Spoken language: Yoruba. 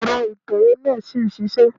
Èrọ ìtẹ̀wé náà ṣì ń ṣisẹ́.